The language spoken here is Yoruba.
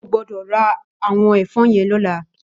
Ó gbòdò rá àwòn èfòn yèn lòlá